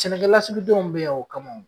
Sɛnɛkɛlasigidenw bɛ yan o kama o.